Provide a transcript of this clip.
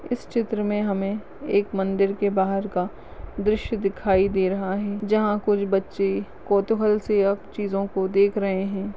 इस चित्र में हमे एक मन्दिर के बहार का द्रश्य दिखाई दे रहा है जहाँ कुछ बच्चे कौतुहल से अब चीजों को देख रहे हैं।